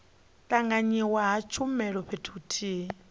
tanganywa ha tshumelo fhethu huthihi